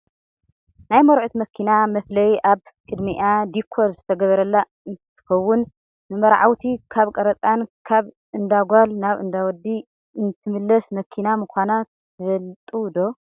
ናይ መርዑት መኪና መፍለይ ኣብ ቅድምኣ ዲኮር ዝተገበረላ እንትከውን፣ ንመርዓውቲ ካብ ቀረፃን ካብ እንዳ ጓል ናብ እንዳ ወዲ እተመላልስ መኪና ምኳና ትፈልጡ ዶ?